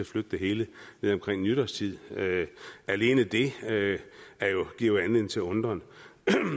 flytte det hele til omkring nytårstid alene det det giver jo anledning til undren